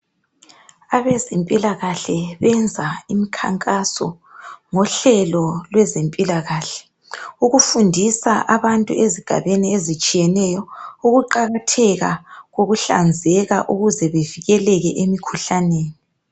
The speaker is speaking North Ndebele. Abezempilakahle benza imikhankaso ngohlelo lwezempilakahle. Ukufundisa abantu ezigabeni ezitshiyeneyo ukuqakatheka kokuhlanzeka ukuze bevikeleke emikhuhlaneni.